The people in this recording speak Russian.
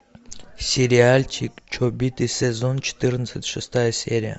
сериальчик чобиты сезон четырнадцать шестая серия